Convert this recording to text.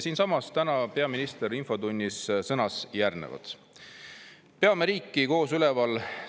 Siinsamas täna peaminister infotunnis sõnas järgnevat: "Peame riiki koos üleval!